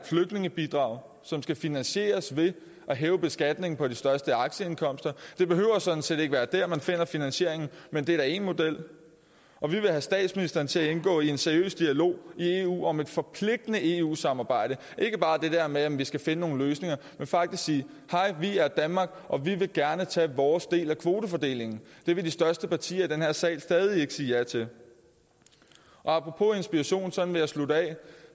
flygtningebidrag som skal finansieres ved at hæve beskatningen på de største aktieindkomster det behøver sådan set ikke være der man finder finansieringen men det er da én model og vi vil have statsministeren til at indgå i en seriøs dialog i eu om et forpligtende eu samarbejde ikke bare det der med om vi skal finde nogle løsninger men faktisk sige hej vi er danmark og vi vil gerne tage vores del af kvoterne det vil de største partier i den her sal stadig ikke sige ja til apropos inspiration sådan vil jeg slutte af